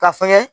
Ka fɛngɛ